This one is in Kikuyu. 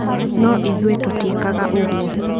No ithuĩ tũtiĩkaga ũguo.